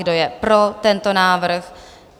Kdo je pro tento návrh?